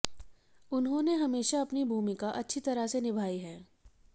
उन्होंने हमेशा अपनी भूमिका अच्छी तरह से निभायी है